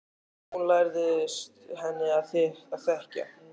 Og hann lærðist henni að þekkja.